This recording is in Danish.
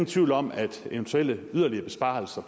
tvivl om at eventuelle yderligere besparelser